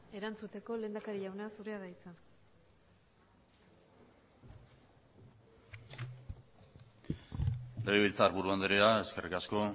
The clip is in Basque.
erantzuteko lehendakari jauna zurea da hitza legebiltzarburu andrea eskerrik asko